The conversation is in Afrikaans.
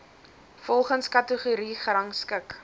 volgens kategorie gerangskik